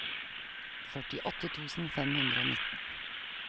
førtiåtte tusen fem hundre og nitten